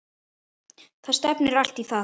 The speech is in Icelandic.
Það stefnir allt í það.